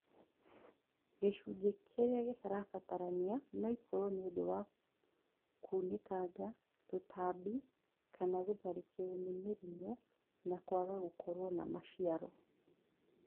Gĩcunjĩ kĩrĩa gĩtarabatarania noikorwo nĩũndũ wa kunĩkanga, tũtambi kana gũtharĩkĩrwo nĩ mĩrimũ na kwaga gũkorwo na maciaro